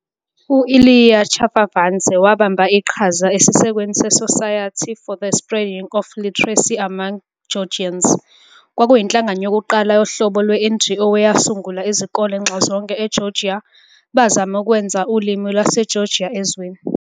U-Ilia Chavchavadze wabamba iqhaza esisekelweni se- "Society for the Spreading of Literacy among Georgians" - kwakuyinhlangano yokuqala yohlobo lwe-NGO eyasungula izikole nxazonke eGeorgia, bazama ukwenza ulimi lwesiGeorgia ezweni.